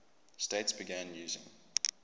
states began using